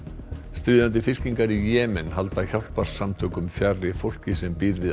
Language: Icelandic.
stríðandi fylkingar í Jemen halda hjálparsamtökum fjarri fólki sem býr við